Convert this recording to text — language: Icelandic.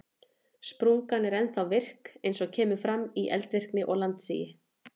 Sprungan er ennþá virk eins og kemur fram í eldvirkni og landsigi.